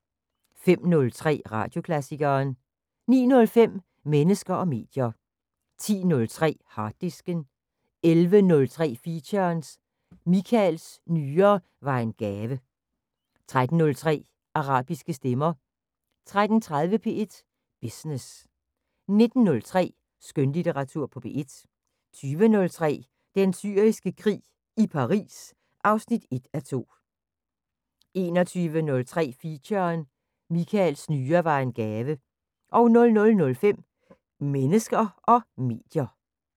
05:03: Radioklassikeren 09:05: Mennesker og medier 10:03: Harddisken 11:03: Feature: Michaels nyre var en gave 13:03: Arabiske stemmer 13:30: P1 Business 19:03: Skønlitteratur på P1 20:03: Den Syriske Krig – i Paris 1:2 21:03: Feature: Michaels nyre var en gave 00:05: Mennesker og medier